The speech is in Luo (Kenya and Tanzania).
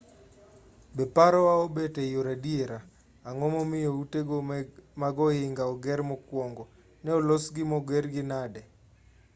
be parowa obet eyor adiera ang'o momiyo utego mag ohinga ne oger mokuongo ne olosgi mogergi nade